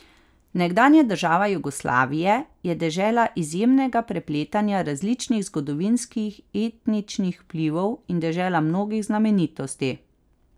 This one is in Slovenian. Nekdanja država Jugoslavije je dežela izjemnega prepletanja različnih zgodovinskih etničnih vplivov in dežela mnogih znamenitosti.